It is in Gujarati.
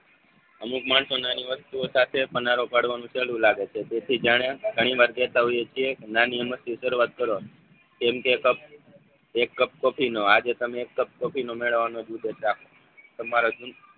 અમુક માણસોના નહિવત વસ્તુઓ સાથે પનારો પાડવાનું ચાલૂ રાખે છે જેથી જાણે ઘણીવાર કેહતા હોયે છીએ નાની અમસ્તી શરૂઆત કરો કેમ કે એક કપ કોફીનો આજે તમે એક કપ કોફીનો મેળવવાનો દુધે ચાપ તમારો